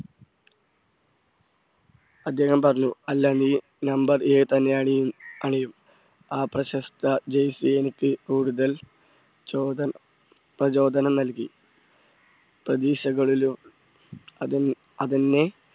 അദ്ദേഹം പറഞ്ഞു അല്ല നീ നമ്പർ ഏഴ് തന്നെ അണിയും~അണിയും ആ പ്രശസ്ത jersey എനിക്ക് കൂടുതൽ ചോധൻ പ്രചോദനം നൽകി പ്രതീക്ഷകളിലും അത് അതെന്നെ